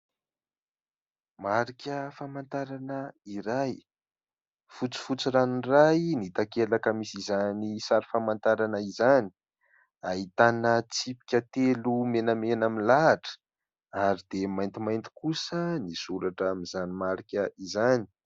Marika famantarana iray, fotsifotsy ranoray ny takelaka misy izany sary famantarana izany, ahitana tsipika telo menamena milahatra ary dia maintimainty kosa ny soratra amin'izany marika izany.